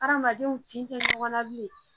Hadamadenw tin tɛ ɲɔgɔn na bilen